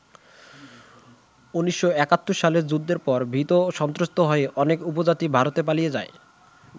১৯৭১ সালের যুদ্ধের পর, ভীত-সন্ত্রস্ত হয়ে অনেক উপজাতি ভারতে পালিয়ে যায়।